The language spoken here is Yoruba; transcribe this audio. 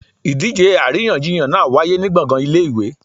Idíje aríyànjiyàn náá wàyé ni gbọngan ìlé-ìwé